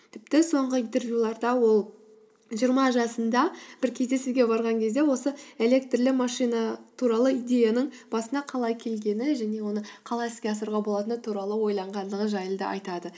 тіпті соңғы интервьюларда ол жиырма жасында бір кезде барған кезде осы электрлі машина туралы идеяның басына қалай келгені және оны қалай іске асыруға болатыны туралы ойланғандығы жайлы да айтады